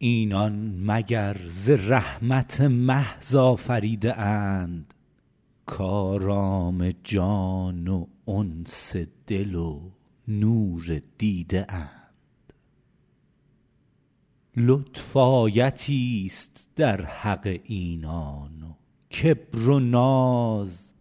اینان مگر ز رحمت محض آفریده اند کآرام جان و انس دل و نور دیده اند لطف آیتی ست در حق اینان و کبر و ناز